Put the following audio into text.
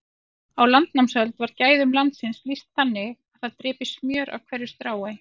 Á landnámsöld var gæðum landsins lýst þannig að þar drypi smjör af hverju strái.